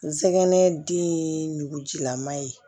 Nsɛgɛn dengujilama ye